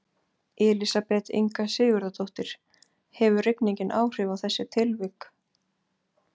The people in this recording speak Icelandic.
Elísabet Inga Sigurðardóttir: Hefur rigningin áhrif á þessi tilvik?